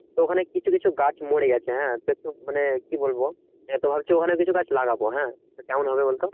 তো ওখানে কিছু কিছু গাছ মরে গেছে হ্যাঁ মানে কি বলবো এবার তো ভাবছি ওখানে কিছু গাছ লাগাবো হ্যাঁ তো কেমন হবে বলতো